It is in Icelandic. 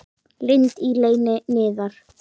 Lind í leyni niðar.